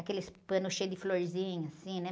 Aqueles panos cheios de florzinha, assim, né?